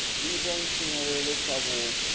zwi ita tshinyalelo kha vhupo